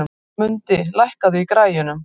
Mundi, lækkaðu í græjunum.